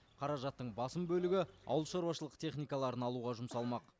қаражаттың басым бөлігі ауылшаруашылық техникаларын алуға жұмсалмақ